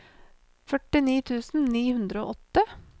førtini tusen ni hundre og åtte